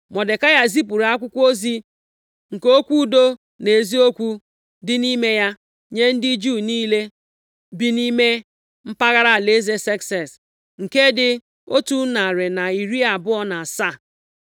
Mọdekai zipụrụ akwụkwọ ozi nke okwu udo na eziokwu + 9:30 Maọbụ, ịgbaume dị nʼime ya, nye ndị Juu niile bi nʼime mpaghara alaeze Sekses, nke dị otu narị na iri abụọ na asaa (127).